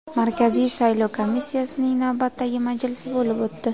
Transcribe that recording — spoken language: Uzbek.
Markaziy saylov komissiyasining navbatdagi majlisi bo‘lib o‘tdi.